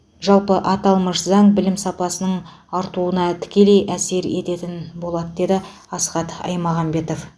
жалпы аталмыш заң білім сапасының артуына тікелей әсер ететін болады деді асхат аймағамбетов